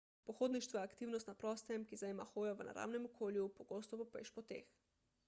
pohodništvo je aktivnost na prostem ki zajema hojo v naravnem okolju pogosto po pešpoteh